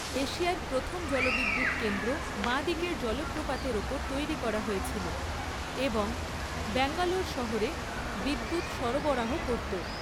এশিয়ার প্রথম জলবিদ্যুৎ কেন্দ্র বাঁ দিকের জলপ্রপাতের ওপর তৈরি করা হয়েছিল এবং ব্যাঙ্গালোর শহরে বিদ্যুৎ সরবরাহ করত।